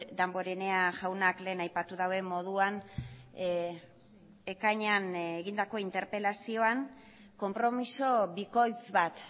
damborenea jaunak lehen aipatu duen moduan ekainean egindako interpelazioan konpromiso bikoitz bat